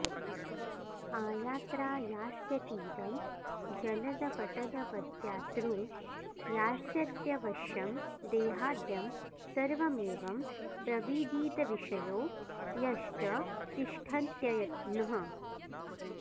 आयात्रायास्यतीदं जलदपटलवद्यातृ यास्यत्यवश्यं देहाद्यं सर्वमेवं प्रविदितविशयो यश्च तिष्ठत्ययत्नः